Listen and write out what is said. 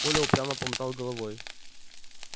коля упрямо помотал головой